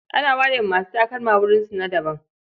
Ana ware wa masu takalma wurinsu na daban.